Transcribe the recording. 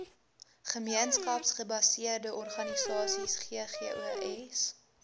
gemeenskapsgebaseerde organisasies ggos